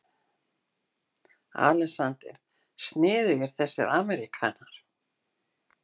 ALEXANDER: Sniðugir þessir ameríkanar.